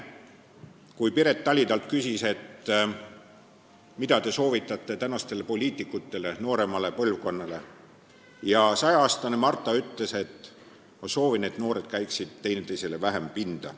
Kui Piret Tali temalt küsis, mida ta soovitab praegustele poliitikutele, nooremale põlvkonnale, siis ütles 106-aastane Marta nii: ma soovin, et noored käiksid teineteisele vähem pinda.